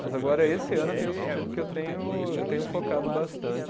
Mas agora esse ano eu tenho sentido que eu tenho, eu tenho focado bastante.